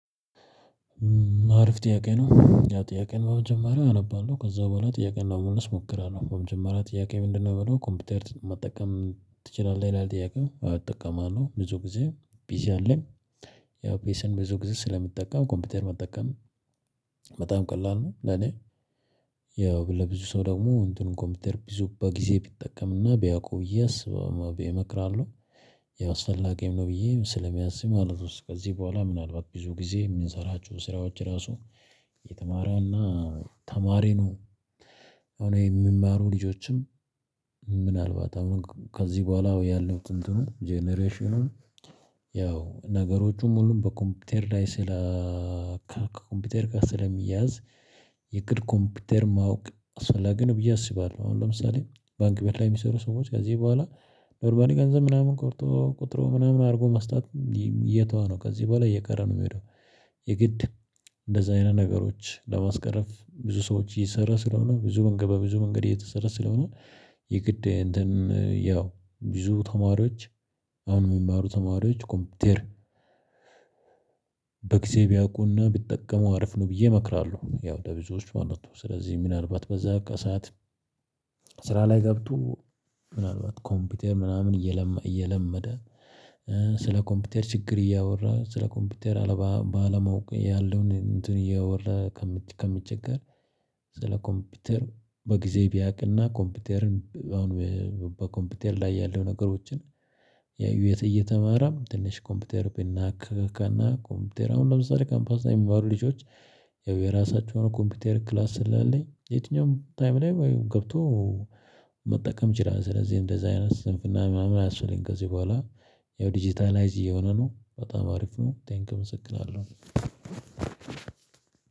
አሪፍ ጥያቄ ነው ያ ጥያቄን በመጀመሪያ አነባለሁ ከዛ በኋላ ጥያቄን ነው ለመመለስ እሞክራለሁ በመጀመሪያ ጥያቄ ምንድነው ምለው ኮምፒውተር መጠቀም ትችላለህ ይላል ጥያቄው አወ እጠቀማለሁ ብዙ ጊዜ ቢዚ አለኝ ያው ፓሲን ብዙ ጊዜ ስለምጠቀም ኮምፒውተር መጠቀም በጣም ቀላል ነው ለኔ ያው ለብዙ ሰው ደግሞ እንትኑን ኮምፒውተር ቢዙ በጊዜ ቢጠቀምና በያዕቀው እና ብየ አስብው እመክራለሁ ያስፈላገኝ ነው ብዬ ስለሚያዝም ማለት ነው ከዚህ በኋላ ምናልባት ብዙ ጊዜ የምንሰራችሁ ስራዎች ራሱ የተማረውና ተማሪ ነው አሁን ይሄ የሚማሩ ልጆችም ምናልባት አሁን ከዚህ በኋላ ያለው ጥንትኑ ጀነሬሽኑን ያው ነገሮችን ሙሉ በኮምፒውተር ላይ ስለ ከኮምፒውተር ጋር ስለሚያዝ የእግድ ኮምፒውተር ማወቅ አስፈላጊ ነው ብዬ አስባለሁ። አሁን ለምሳሌ ባንክ ቤት ለይ የሚሰሩ ሰዎች ከዚህ በኋላ ኖርማሊ ገንዘብ ምናምን ቆርጦ ቆጥሮ ምናምን አድርጎ መስጠት እየተዋ ነው ከዚህ በኋላ እየቀረ ነው የምሄደው። የግድ እንደዚህ አይነት ነገሮች ለማስቀረፍ ብዙ ሰዎች እየሰራል ስለሆነ ብዙ መንገድ በብዙ መንገድ እየተሰራ ስለሆነ የግድ እንትን ያው ብዙ ተማሪዎች አሁን የሚማሩ ተማሪዎች ኮምፒቴር በጊዜ ቢያውቁና ቢጠቀሙ አሪፍ ነው ብዬ እመክራለሁ። ያው ለብዙዎች ማለት ነው። ስለዚህ ምናልባት በዛ ቃ ሰዓት ስራ ላይ ገብቶ ምናልባት ኮምፒውተር ምናምን እየለመደ እየለመደ ስለ ኮምፒውተር ችግር እያወራ ስለ ኮምፒውተር አለ ባለማወቁ ያለውን እንትን እያወራ ከሚቸገር ስለ ኮምፒውተር በጊዜ ቢያውቅና ኮምፒውተርን አሁን በኮምፒውተር ላይ ያለው ነገሮችን ያዩት እየተማረም ትንሽ ኮምፒውተር ቢናካካና ኮምፒውተር አሁን ለምሳሌ ካምፓስ ላይ የሚማሩ ልጆች ያው የራሳቸውን ኮምፒውተር ክላስ ስላለኝ የትኛውም ታይም ላይ ገብቶ መጠቀም ይችላል። ስለዚህ እንደዛ አይነት ስንፍና ምናምን አያስፈልግም። ከዚህ በኋላ ያው ዲጂታላይዝ እየሆነ ነው በጣም አሪፍ ነ። ቴንኪው አመሰግናለሁ አለው።